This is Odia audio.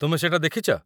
ତୁମେ ସେଇଟା ଦେଖିଛ ?